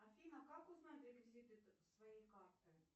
афина как узнать реквизиты своей карты